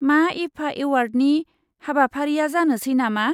मा ईफा एवार्डनि हाबाफारिया जानोसै नामा?